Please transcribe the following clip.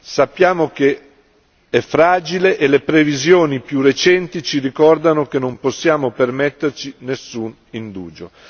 Sappiamo che è fragile e le previsioni più recenti ci ricordano che non possiamo permetterci nessun indugio.